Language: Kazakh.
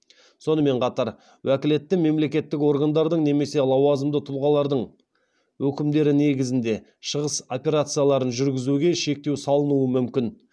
сонымен қатар уәкілетті мемлекеттік органдардың немесе лауазымды тұлғалардың өкімдері негізінде шығыс операцияларын жүргізуге шектеу салынуы мүмкін